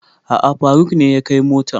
A'a faruk ne ya kai motan